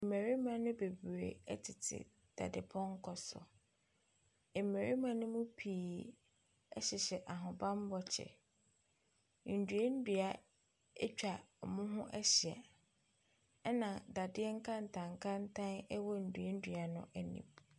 Mmarima no bebree tete dadepɔnkɔ so. Mmarima no mu pii hyehyɛ ahobammɔ kyɛ. Nnuannua atwa wɔn ho ahyia. Ɛnadadeɛ nkantankantan wɔ nnuannua no anim.